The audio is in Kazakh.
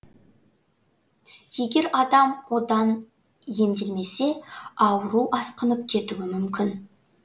егер адам одан емделмесе ауру асқынып кетуі мүмкін